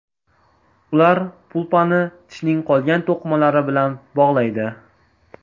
Ular pulpani tishning qolgan to‘qimalari bilan bog‘laydi.